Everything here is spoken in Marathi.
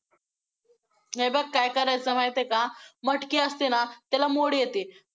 हे बघ काय करायचं माहितेय का मटकी असते ना, त्याला मोड येते.